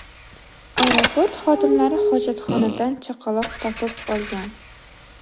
Aeroport xodimlari hojatxonadan chaqaloq topib olgan.